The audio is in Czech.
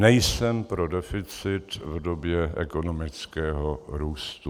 Nejsem pro deficit v době ekonomického růstu.